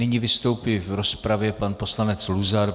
Nyní vystoupí v rozpravě pan poslanec Luzar.